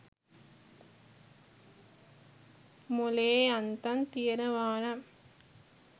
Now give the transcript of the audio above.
මොලේ යන්තම් තියෙනවා නම්